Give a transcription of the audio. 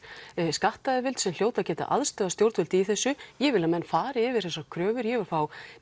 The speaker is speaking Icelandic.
skattayfirvöld sem hljóta að geta aðstoðað stjórnvöld í þessu ég vil að menn fari yfir þessar kröfur ég vil fá